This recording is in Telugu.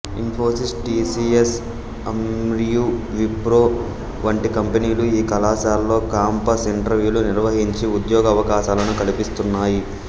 ఇన్ఫోసిస్ టి సి యస్ అంరియు విప్రో వంటి కంపెనీలు ఈ కళాశాలలో కాంపస్ ఇంటర్యూలు నిర్వహించి ఉద్యోగావకాశాలను కల్పిస్తున్నాయి